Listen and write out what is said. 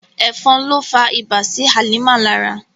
Ẹ̀fọn ló fa ibà sí Hàlímà lára.